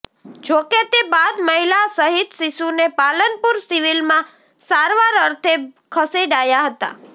જો કે તે બાદ મહિલા સહિત શિશુને પાલનપુર સિવિલમાં સારવાર અર્થે ખસેડાયા હતા